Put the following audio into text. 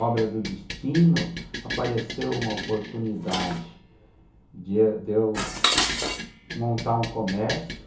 obra do destino, apareceu uma oportunidade de eu de eu montar um comércio.